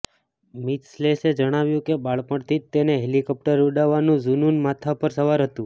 મિથલેશે જણાવ્યું કે બાળપણથી જ તેને હેલિકોપ્ટર ઉડાવવાનું ઝૂનૂન માથા પર સવાર હતું